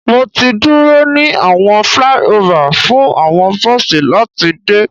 Mo ti duro ni awọn flyover fun awọn bosi lati de